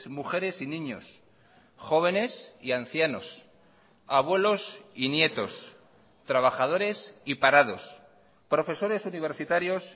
mujeres y niños jóvenes y ancianos abuelos y nietos trabajadores y parados profesores universitarios